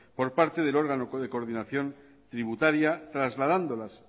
por parte del órgano de coordinación tributaria trasladándolas